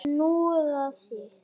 Snoða þig?